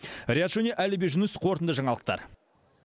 риат шони әліби жүніс қорытынды жаңалықтар